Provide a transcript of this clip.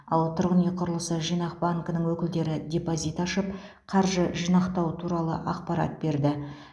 ал тұрғын үй құрылысы жинақ банкінің өкілдері депозит ашып қаржы жинақтау туралы ақпарат берді